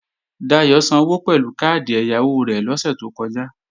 Dayò sanwó pẹ̀lú káàdì ẹ̀yáwó rẹ̀ lọ́sè tó kọjá